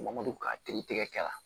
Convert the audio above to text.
Mɔdɛli ka kiiri tigɛ la